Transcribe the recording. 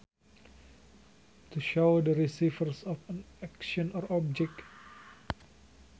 To shows the receivers of an action or object